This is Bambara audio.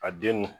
A den